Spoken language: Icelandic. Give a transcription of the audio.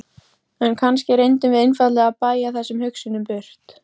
Landspítalann og gáfu blóðrannsóknartæki til deildarinnar.